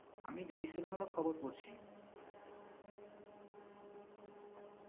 আমি BBC বাংলার খবর পড়ছি।